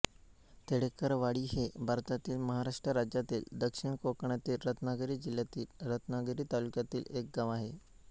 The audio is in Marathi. तळेकरवाडी हे भारतातील महाराष्ट्र राज्यातील दक्षिण कोकणातील रत्नागिरी जिल्ह्यातील रत्नागिरी तालुक्यातील एक गाव आहे